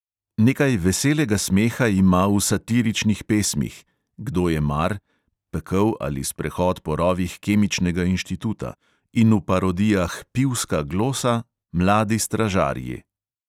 Nekaj veselega smeha ima v satiričnih pesmih (kdo je mar, pekel ali sprehod po rovih kemičnega inštituta) in v parodijah pivska glosa, mladi stražarji.